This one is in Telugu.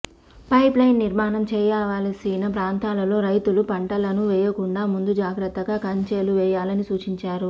పైప్ లైన్ నిర్మాణం చేయావలసిన ప్రాంతాలలో రైతులు పంటలను వేయకుండా ముందు జాగ్రత్తగా కంచేలు వేయాలని సూచించారు